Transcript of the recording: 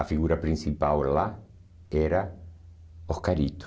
A figura principal lá era Oscarito.